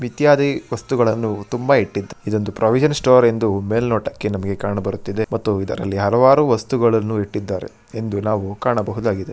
ವಸ್ತುಗಳನ್ನು ತುಂಬಾ ಇಟ್ಟಿದ್ದು ಇದೊಂದು ಪ್ರಾವಿಷನ್ ಸ್ಟೋರ್ ಎಂದು ಮೇಲ್ನೋಟಕ್ಕೆ ಕಾಣಬರುತಿದೆ. ಮತ್ತು ಇದರಲ್ಲಿ ಹಲವಾರು ವಸ್ತಗಳನ್ನು ಇಟ್ಟಿದ್ದಾರೆ ಎಂದು ನಾವು ಕಾಣಬಹುದಾಗಿದೆ.